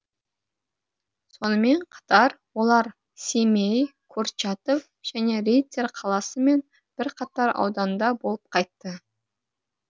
сонымен қатар олар семей курчатов және риддер қаласы мен бірқатар ауданда болып қайтты